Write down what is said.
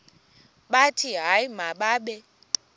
bathi hayi mababe